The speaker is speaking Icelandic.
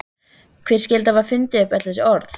Hver skyldi hafa fundið upp öll þessi orð?